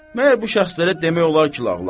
Məgər bu şəxslərə demək olar ki, lağlağı?